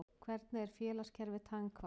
Hvernig er félagskerfi tannhvala?